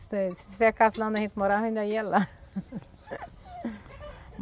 Se se secasse lá onde a gente morava ainda ia lá.